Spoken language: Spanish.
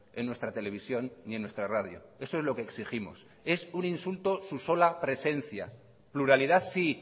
en nuestra televisión ni en nuestra radio eso es lo que exigimos es un insulto su sola presencia pluralidad sí